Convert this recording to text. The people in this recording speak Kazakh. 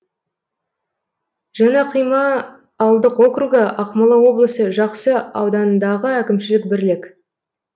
жаңақима ауылдық округі ақмола облысы жақсы ауданындағы әкімшілік бірлік